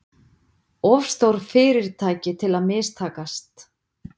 Of stór fyrirtæki til að mistakast